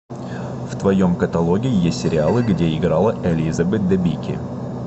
в твоем каталоге есть сериалы где играла элизабет дебики